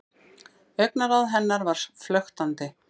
Augnaráð hennar var flöktandi.